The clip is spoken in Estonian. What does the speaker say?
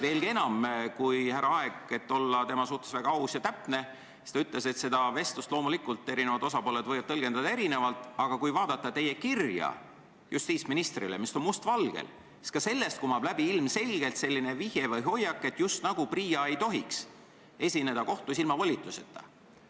Veelgi enam, härra Aeg ütles, et seda vestlust võivad eri osapooled loomulikult tõlgendada erinevalt, aga kui vaadata teie kirja justiitsministrile, kus on kõik must valgel kirjas, siis ka sellest kumab ilmselgelt läbi vihje või hoiak, just nagu PRIA ei tohiks kohtus riiki ilma volituseta esindada.